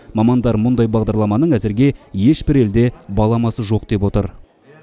мамандар мұндай бағдарламаның әзірге ешбір елде баламасы жоқ деп отыр